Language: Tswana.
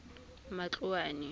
matloane